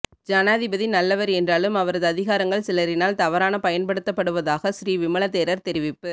ஜனாதிபதி நல்லவர் என்றாலும் அவரது அதிகாரங்கள் சிலரினால் தவறான பயன்படுத்தப்படுவதாக ஸ்ரீ விமல தேரர் தெரிவிப்பு